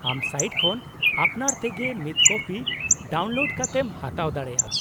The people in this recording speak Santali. -ᱟᱢ ᱥᱟᱭᱤᱴ ᱠᱷᱚᱱ ᱟᱯᱱᱟᱨ ᱛᱮᱜᱮ ᱢᱤᱫ ᱠᱚᱯᱤ ᱰᱟᱣᱩᱱᱞᱳᱰ ᱠᱟᱛᱮᱢ ᱦᱟᱛᱟᱣ ᱫᱟᱲᱮᱭᱟᱜᱼᱟ ᱾